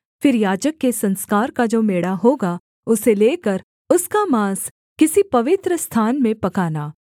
फिर याजक के संस्कार का जो मेढ़ा होगा उसे लेकर उसका माँस किसी पवित्रस्थान में पकाना